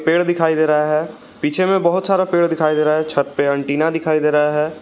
पेड़ दिखाई दे रहा है पीछे में बहुत सारा पेड़ दिखाई दे रहा है छत पे एंटीना दिखाई दे रहा है।